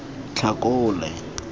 tlhakole